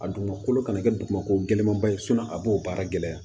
A dugumakolo kana kɛ dugumako gɛlɛnmanba ye a b'o baara gɛlɛya